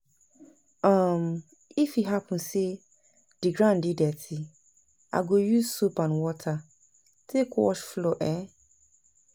um if e hapun say di ground dey dirty, I go use soap and water take wash floor um